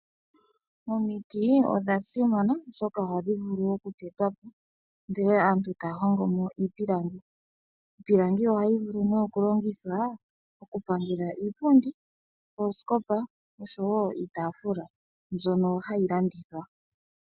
Omiti odha simana oshoka ohadhi vulu oku tetwapo ndele aantu taya hongo mo iipilangi. Iipilangi ohayi vulu wo oku longithwa oku pangela iipundi, iitafula oshowo oosikopa mbyono hayi landithwa.